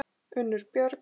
Unnur Björg.